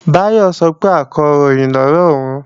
Báyọ̀ sọ pé Akọ̀ròyìn ni ọ̀ré òun